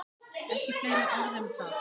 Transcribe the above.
Ekki fleiri orð um það!